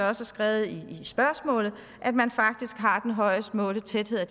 er skrevet i spørgsmålet at man faktisk har den højest målte tæthed af